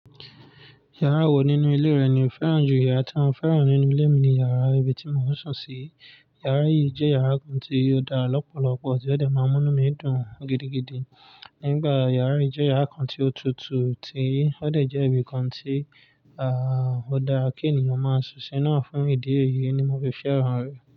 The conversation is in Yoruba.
Yàrá wo nínú ilé rẹ ni o fẹ́ràn jù? Yàrá tí wọn fẹ́ràn nínú ilé mi ni yàrá ibi tí mò ń sùn sí. Yàrá yìí jẹ́ yàrá kan tí ó dá lọ́pọ̀lọpọ̀ tí ó dẹ̀ máa múnu mi dùn gidigidi. Nígbà yàrá yìí jẹ́ yàrá kan tí ó tutù tí ó dẹ̀ jẹ́ ibi kan tí, à, ó dára kí ènìyàn máa sùn sí i náà fún ìdí èyí ni mo fi fẹ́ràn rẹ̀.